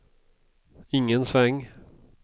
ingen sväng